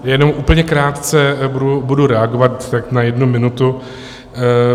Jenom úplně krátce budu reagovat, tak na jednu minutu.